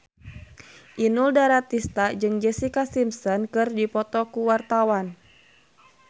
Inul Daratista jeung Jessica Simpson keur dipoto ku wartawan